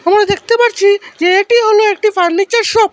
আমরা দেখতে পাচ্ছি যে এটি হল একটি ফার্নিচার শপ ।